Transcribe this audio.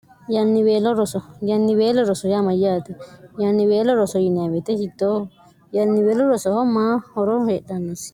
yniorosoyannibeelo rosorea amayyaate yannibeelo roso yinyawete sittooh yanniweelo rosoho maa horo heedhannissi